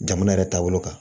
Jamana yɛrɛ taabolo kan